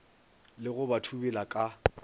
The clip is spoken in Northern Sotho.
le go ba thubela ka